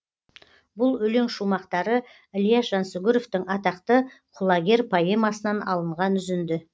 бұл өлең шумақтары ілияс жансүгіровтің атақты құлагер поэмасынан алынған үзінді